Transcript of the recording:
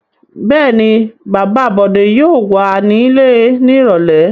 Bẹ́ẹ̀ ni, bàbá Bọ̀dé yóò wà nílé ní ìrọ́lẹ́.